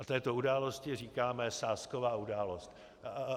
A této události říkáme sázková událost.